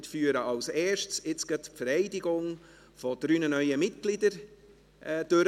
Wir führen als Erstes gleich die Vereidigung dreier neuer Mitglieder durch.